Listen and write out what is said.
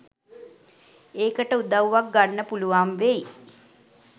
ඒකට උදව්වක් ගන්න පුළුවන් වෙයි .